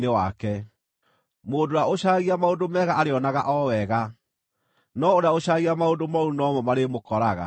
Mũndũ ũrĩa ũcaragia maũndũ mega arĩonaga o wega, no ũrĩa ũcaragia maũndũ mooru no mo marĩmũkoraga.